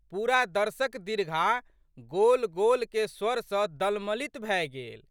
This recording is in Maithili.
पूरा दर्शक दीर्घा गोलगोलके स्वर सँ दलमलित भए गेल।